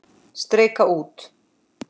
Strika út.